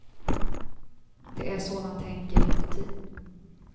Det är så man tänker inuti.